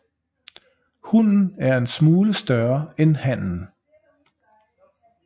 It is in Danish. Hunnen er en smule større end hannen